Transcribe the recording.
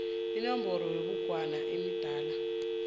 inomboro yebhugwana yemidana